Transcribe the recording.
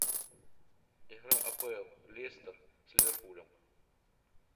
игра апл лестер с ливерпулем